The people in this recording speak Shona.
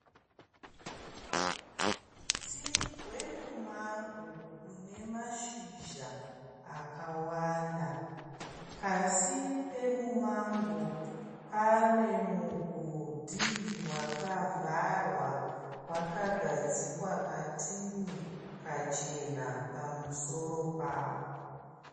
Muti wemumango une mashizha akawanda. Pasi pemumango pane mugodhi wakavharwa wakagadzikwa katini kachena pamusoro pawo.